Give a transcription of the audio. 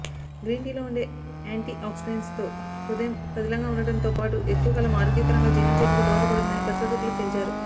green టీలో ఉండే యాంటీఆక్సిడెంట్స్తో హృదయం పదిలంగా ఉండటంతో పాటు ఎక్కువకాలం ఆరోగ్యకరంగా జీవించేందుకు దోహదపడుతుందని పరిశోధకులు తేల్చారు